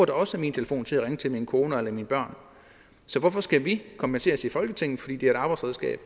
da også min telefon til at ringe til min kone eller mine børn så hvorfor skal vi kompenseres i folketinget fordi det er et arbejdsredskab